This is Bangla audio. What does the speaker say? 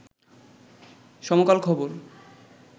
সমকাল খবর